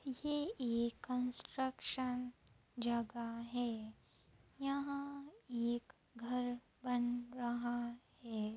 ये एक कंस्ट्रक्शन जगह है | यहां एक घर बन रहा है।